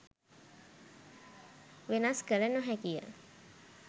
වෙනස් කළ නො හැකි ය.